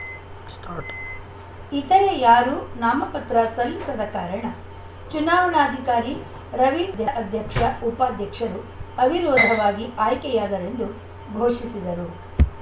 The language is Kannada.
ಸ್ಟಾರ್ಟ್ ಇತರೆ ಯಾರೂ ನಾಮಪತ್ರ ಸಲ್ಲಿಸದ ಕಾರಣ ಚುನಾವಣಾಧಿಕಾರಿ ರವೀಂದ್ರ ಅ ಅಧ್ಯಕ್ಷಉಪಾಧ್ಯಕ್ಷರು ಅವಿರೋಧವಾಗಿ ಆಯ್ಕೆಯಾದರೆಂದು ಘೋಷಿಸಿದರು